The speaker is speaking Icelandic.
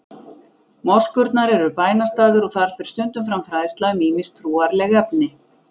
Moskurnar eru bænastaðir og þar fer stundum fram fræðsla um ýmis trúarleg efni.